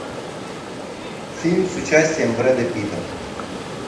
фильм с участием бреда питта